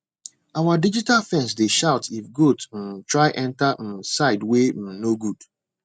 our digital fence dey shout if goat um try enter um side way um no good